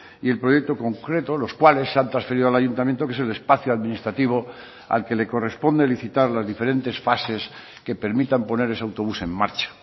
y el proyecto concreto los cuales se han transferido al ayuntamiento que es el espacio administrativo al que le corresponde licitar las diferentes fases que permitan poner ese autobús en marcha